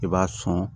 I b'a sɔn